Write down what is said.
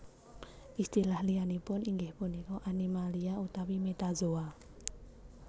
Istilah liyanipun inggih punika Animalia utawi Metazoa